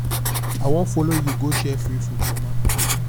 i wan follow you go share free food for market